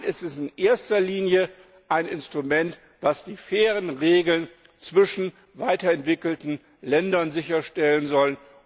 Nein, es ist in erster Linie ein Instrument, das die fairen Regeln zwischen weiterentwickelten Ländern sicherstellen soll.